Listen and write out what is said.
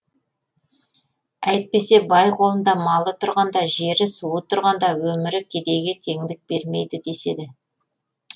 әйтпесе бай қолында малы тұрғанда жері суы тұрғанда өмірі кедейге теңдік бермейді деседі